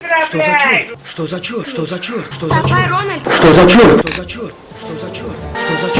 что за что за что за что за что за что